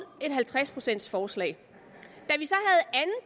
et halvtreds procents forslag